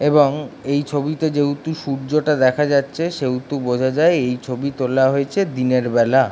এবং এই ছবিতে যেহেতু সূর্যটা দেখা যাচ্ছে সেহেতু বোঝা যায় এই ছবিটা তোলা হয়েছে দিনের বেলা - আ--